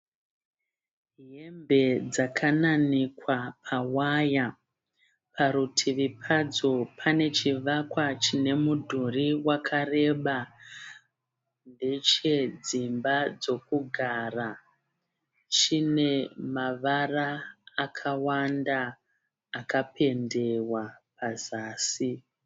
Hembe dzakananikwa pawaya. Parutivi padzo pane chivakwa chine mudhuri wakareba. Ndechedzimba chokugara chine mavara akawanda akapendewa pazasi.